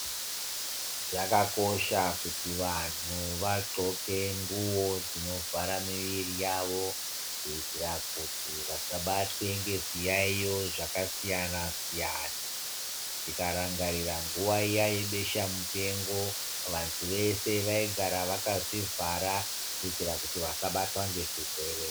Zvakakosha kuti vantu vanxoke nguwo dzinovhara miviri yavo , kuitira kuti vasabatwe ngezviyaiyo zvakasiyana siyana . Tikaramgaeira nguwa iya yebesha mupengo vanhu ,veshe vaigara vakazvivhara kuti vasabatwa nezvirwere.